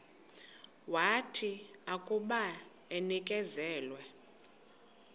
wathi akuba enikezelwe